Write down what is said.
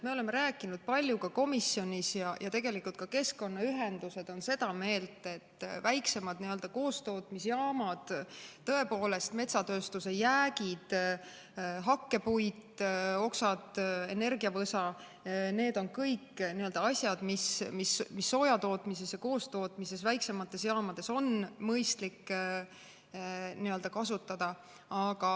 Me oleme rääkinud palju komisjonis ja tegelikult ka keskkonnaühendused on seda meelt, et metsatööstuse jäägid, hakkepuit, oksad, energiavõsa, need on kõik asjad, mida on soojatootmises ja koostootmises väiksemates jaamades mõistlik kasutada.